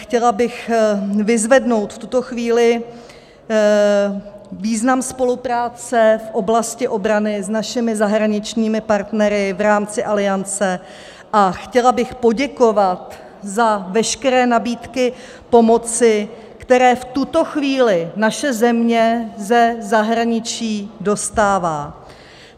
Chtěla bych vyzvednout v tuto chvíli význam spolupráce v oblasti obrany s našimi zahraničními partnery v rámci Aliance a chtěla bych poděkovat za veškeré nabídky pomoci, které v tuto chvíli naše země ze zahraničí dostává.